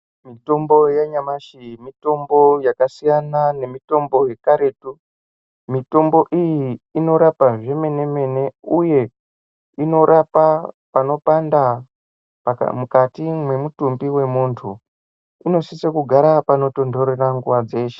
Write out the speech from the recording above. Mitombo yanyamashi mitombo yakasiyana nemitombo yekaretu mitombo iyi inorapa zvemene mene uye inorapa panopanda mukati mwemutumbi mwemuntu inosisa kugara panotondorera nguwa dzeshe.